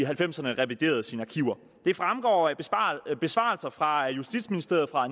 halvfemserne reviderede sine arkiver det fremgår af besvarelser fra justitsministeriet fra